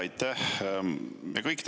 Aitäh!